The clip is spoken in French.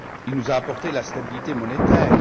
Il nous a apporté la stabilité monétaire.